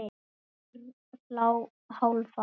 GRÍMUR: Hálfan!